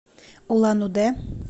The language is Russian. улан удэ